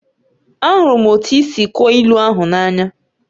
Ahụrụ m otú i si kọọ ilu ahụ n'anya